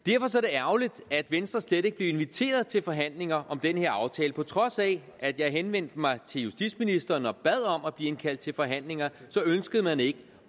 ærgerligt at venstre slet ikke blev inviteret til forhandlinger om den her aftale på trods af at jeg henvendte mig til justitsministeren og bad om at blive indkaldt til forhandlinger så ønskede man ikke